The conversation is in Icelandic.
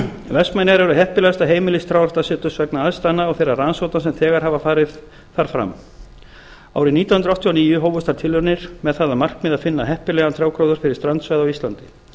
vestmannaeyjar eru heppilegasta heimili trjáræktarseturs vegna aðstæðna og þeirra rannsókna sem þegar hafa farið þar fram árið nítján hundruð áttatíu og níu hófust þar tilraunir með það markmið að finna heppilegan trjágróður fyrir strandsvæði á íslandi